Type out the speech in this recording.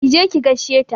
Ki je ki gaishe ta!